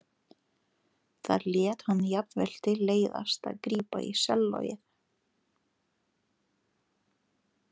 Þar lét hann jafnvel til leiðast að grípa í sellóið.